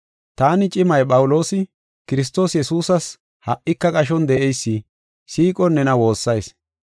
Taani, cimay Phawuloosi, Kiristoos Yesuusas ha77ika qashon de7eysi, siiqon nena woossayis.